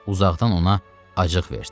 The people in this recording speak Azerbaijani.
Uzaqdan ona acıq verdi.